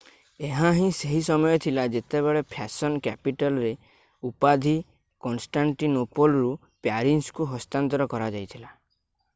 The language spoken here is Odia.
ଏହା ହିଁ ସେହି ସମୟ ଥିଲା ଯେତେବେଳେ ଫ୍ୟାଶନ୍ କ୍ୟାପିଟଲ୍‌ର ଉପାଧି କନଷ୍ଟାଣ୍ଟିନୋପୋଲରୁ ପ୍ୟାରିସ୍‌କୁ ହସ୍ତାନ୍ତର କରାଯାଇଥିଲା।